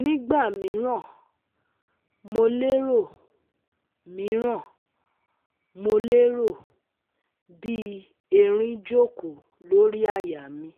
Nigba miran mo lero miran mo lero bi erin joko lori àyà mi